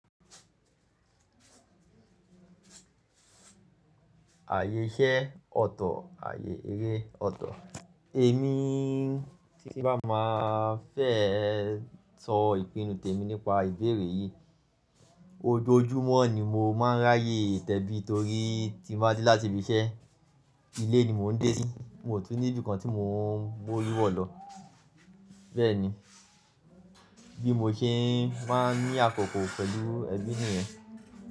Ààyè iṣẹ́ ọ̀tọ̀, ààyè eré ọ̀tọ̀. Èmi tí bá máa fẹ́ sọ ìpinnu tèmi nípa ìbéèrè yìí, ojoojúmọ́ ni mo máa ń ráyè tẹ́bí torí tí mo bá dé láti ibi iṣẹ́, ilé ni mò ń dé sí, mo tún ní ibìkan tí mò ń b'ówó lú wọ̀ lọ. Bẹ́ẹ̀ ni, bí mo ṣe máa ń ní àkókò pẹ̀lú ẹbí mi rẹ.